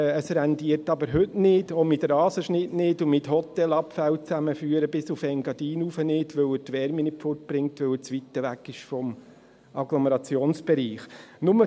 Es rentiert aber bis heute nicht, auch mit Rasenschnitt nicht, auch zusammen mit dem Abführen von Hotelabfällen bis ins Engadin hinauf nicht, weil er die Wärme nicht wegbringt, da er zu weit vom Agglomerationsbereich ist.